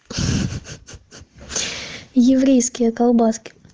ха ха еврейские колбаски